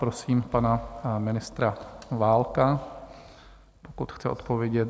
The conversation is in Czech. Prosím pana ministra Válka, pokud chce odpovědět.